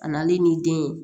A nalen n'i den ye